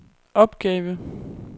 opgave